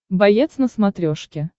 боец на смотрешке